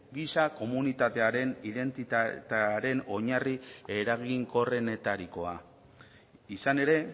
giza komunitatearen identitatearen oinarri eraginkorrenetarikoa izan ere